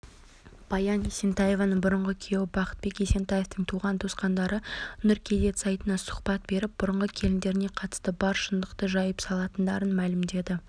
баян есентаеваның бұрынғы күйеуі бақытбек есентаевтың туған-туысқандары нұр кз сайтына сұхбат беріп бұрынғы келіндеріне қатысты бар шындықты жайып салатындарын мәлімдеген